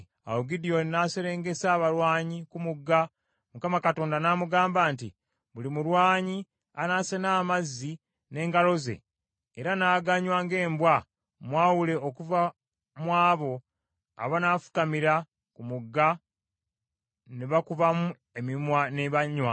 Awo Gidyoni n’aserengesa abalwanyi ku mugga, Mukama Katonda n’amugamba nti, “Buli mulwanyi anaasena amazzi n’engalo ze era n’aganywa ng’embwa mwawule okuva mu abo abanaafukamira ku mugga ne bakubamu emimwa ne banywa.